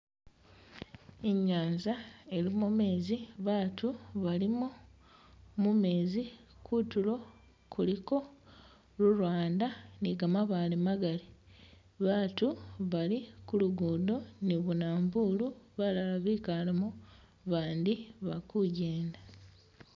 Inyanza ilimo meezi baatu balimo mumezi kutulo kuliko lulwanda ni gamabaale magali baatu bali kulugudo ni bumanvulu balala bikaalemo bandi bali kujenda.